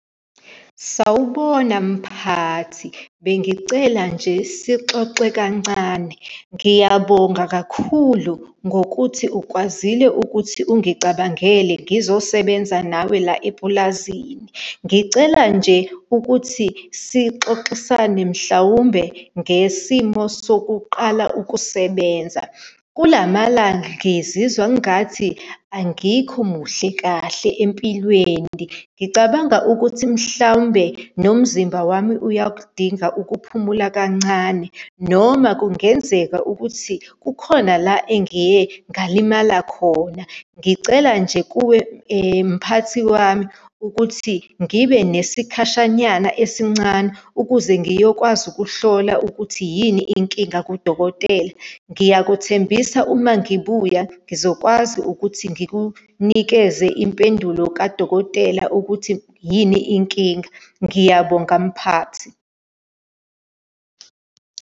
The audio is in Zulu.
Sawubona, mphathi. Bengicela nje sixoxe kancane. Ngiyabonga kakhulu ngokuthi ukwazile ukuthi ungicabangele ngizosebenza nawe la epulazini. Ngicela nje ukuthi sixoxisane, mhlawumbe ngesimo sokuqala ukusebenza. Kula malanga ngizizwa ngathi angikho muhle kahle empilweni. Ngicabanga ukuthi mhlawumbe nomzimba wami uyakudinga ukuphumula kancane, noma kungenzeka ukuthi kukhona la engiye ngalimala khona. Ngicela nje kuwe mphathi wami, ukuthi ngibe nesikhashanyana esincane ukuze ngiyokwazi ukuhlola ukuthi yini inkinga kudokotela. Ngiyakuthembisa uma ngibuya ngizokwazi ukuthi ngikunikeze impendulo kadokotela ukuthi yini inkinga. Ngiyabonga, mphathi.